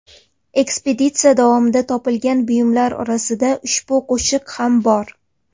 Ekspeditsiya davomida topilgan buyumlar orasida ushbu qoshiq ham bor.